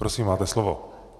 Prosím, máte slovo.